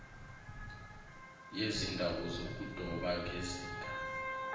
yezindawo zokudoba ngezinga